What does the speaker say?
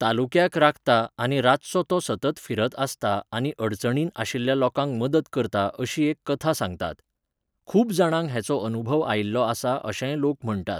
तालूक्याक राखता आनी रातचो तो सतत फिरत आसता आनी अडचणी आशिल्या लोकांक मदत करता अशी एक कथा सांगतात. खूब जाणांक हेचो अनूभव आयिल्लो आसा अशेंय लोक म्हणटात